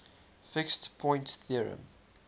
fixed point theorem